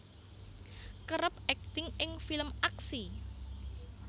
kerep akting ing film aksi